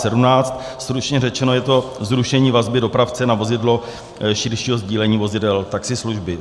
Stručně řečeno je to zrušení vazby dopravce na vozidlo širšího sdílení vozidel taxislužby.